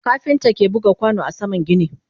kafinta ke buga kwano a saman gini